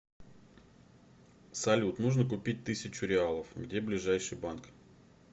салют нужно купить тысячу реалов где ближайший банк